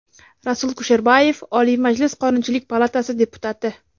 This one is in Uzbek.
Rasul Kusherbayev, Oliy Majlis Qonunchilik palatasi deputati.